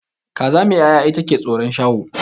Kaza mai ya'ya ita ke tsoron shaho